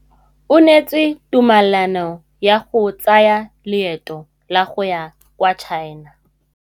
O neetswe tumalanô ya go tsaya loetô la go ya kwa China.